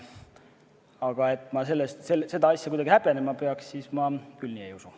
Aga seda, et ma seda asja kuidagi häbenema peaks, ma küll ei usu.